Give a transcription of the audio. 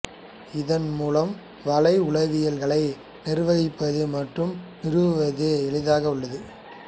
இதன் மூலம் வலை உலாவிகளை நிர்வகிப்பது மற்றும் நிறுவுவது எளிதாக உள்ளது